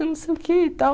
Eu não sei o que e tal.